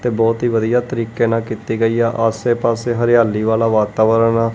ਤੇ ਬਹੁਤ ਹੀ ਵਧੀਆ ਤਰੀਕੇ ਨਾਲ ਕੀਤੀ ਗਈ ਆ। ਆਸੇ-ਪਾਸੇ ਹਰਿਆਲੀ ਵਾਲਾ ਵਾਤਾਵਰਨ ਆ।